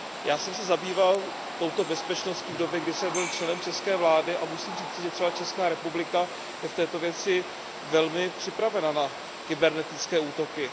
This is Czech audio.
Já jsem se zabýval touto bezpečností v době, kdy jsem byl členem české vlády, a musím říci, že třeba Česká republika je v této věci velmi připravena na kybernetické útoky.